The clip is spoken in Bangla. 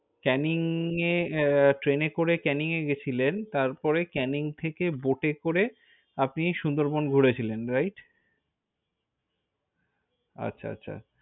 কানিং এ train করে ক্যানিংয়ের গেছিলেন। তারপরে ক্যানিং থেকে boat এ করে আপনি সুন্দরবন ঘুরেছিলেন। Right? আচ্ছা আচ্ছা।